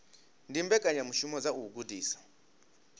ndi mbekanyamishumo dza u gudisa